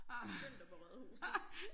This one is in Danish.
Skynd dig på rådhuset